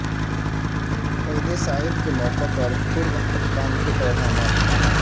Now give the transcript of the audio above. عید سعید کے موقع پر ترک حکام کے پیغامات